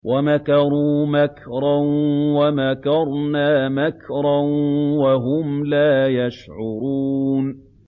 وَمَكَرُوا مَكْرًا وَمَكَرْنَا مَكْرًا وَهُمْ لَا يَشْعُرُونَ